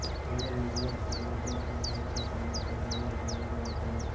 એમના લીંબુના છોડ મોટા તો હોય છે પણ એના પર જોઈએ એટલા લીંબુ આવતા નથી